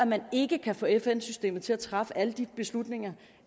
man ikke kan få fn systemet til at træffe alle de beslutninger